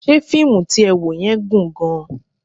Ṣé fíìmù tí ẹ wò yẹn gùn gan-an?